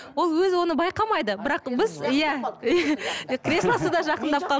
ол өзі оны байқамайды бірақ біз иә креслосы да жақындап қалды